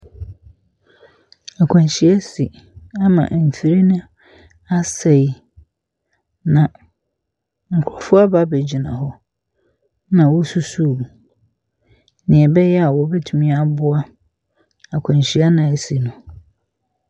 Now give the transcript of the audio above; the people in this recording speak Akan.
Akwanhyia asi ama mfir no asɛe, na nkurɔfoɔ aba abegyina hɔ na wɔ na wɔresusu obi. Nea ɛbɛyɛ a wɔbɛtumi aboa akwanhyia no a asi no.